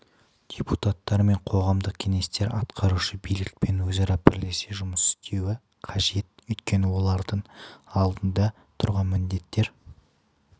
депутаттар мен қоғамдық кеңестер атқарушы билікпен өзара бірлесе жұмыс істеуі қажет өйткені олардың алдында тұрған міндеттер